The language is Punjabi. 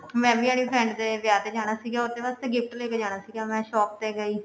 ਮੈਂ ਵੀ ਆਪਣੀ friend ਦੇ ਵਿਆਹ ਤੇ ਜਾਣਾ ਸੀਗਾ ਉਹਦੇ ਵਾਸਤੇ gift ਲੇਕੇ ਜਾਣਾ ਸੀਗਾ ਮੈਂ shop ਤੇ ਗਈ